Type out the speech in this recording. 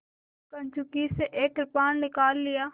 कंचुकी से एक कृपाण निकाल लिया